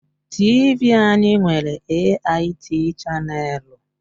TV anyị nwere AIT chaneelu.